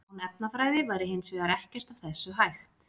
Án efnafræði væri hins vegar ekkert af þessu hægt.